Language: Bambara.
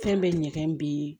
Fɛn bɛɛ ɲɛgɛn bɛ